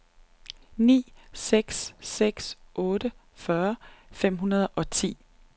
ni seks seks otte fyrre fem hundrede og ti